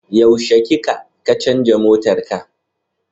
Yaushe kika kacanza motarka?